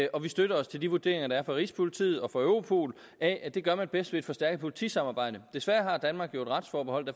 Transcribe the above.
og at vi støtter os til de vurderinger der er fra rigspolitiet og fra europol af at det gør man bedst ved et forstærket politisamarbejde desværre har danmark jo et retsforbehold